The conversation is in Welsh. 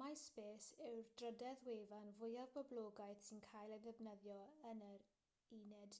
myspace yw'r drydedd wefan fwyaf poblogaidd sy'n cael ei defnyddio yn yr ud